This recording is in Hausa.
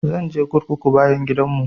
Zan je kurkukun bayan gidan mu